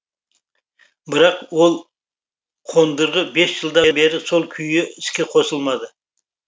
бірақ ол қондырғы бес жылдан бері сол күйі іске қосылмады